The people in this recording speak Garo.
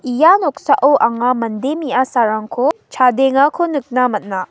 ia noksao anga mande me·asarangko chadengako nikna man·a.